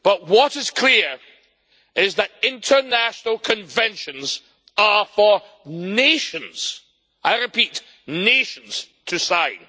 What is clear is that international conventions are for nations I repeat nations to sign.